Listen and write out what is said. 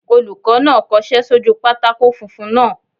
Olùkọ́ náà kọsẹ́ sójú pátákó funfun náà